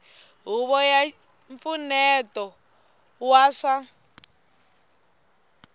huvo ya mpfuneto wa swa